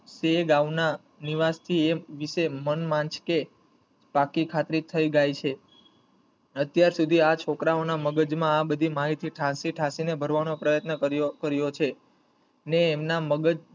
તે ગામ ના નિવાસી એ વિષે મન માજકે પાકી ખાતરી થઈ જાય છે અત્યાર સુધી આ છોકરાવોના મગજમાં આ બધી માહિતી ઠાંસી ઠાંસી ને ભરવાનો પ્રયત્ન કરીયો~કરીયો છે ને એમના મગજ